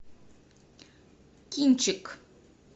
кинчик